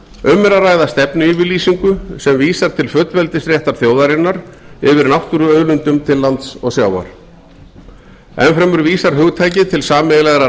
um er að ræða stefnuyfirlýsingu sem vísar til fullveldisréttar þjóðarinnar yfir náttúruauðlindum til lands og sjávar enn fremur vísar hugtakið til sameiginlegrar